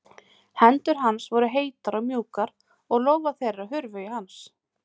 Hendur hans voru heitar og mjúkar og lófar þeirra hurfu í hans.